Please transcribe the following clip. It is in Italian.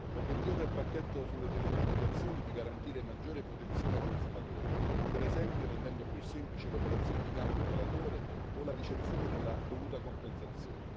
Obiettivo del pacchetto sulle telecomunicazioni è di garantire maggiore protezione ai consumatori, per esempio rendendo più semplice l'operazione di cambio operatore o la ricezione della dovuta compensazione.